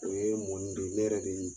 O ye n don ne yɛrɛ de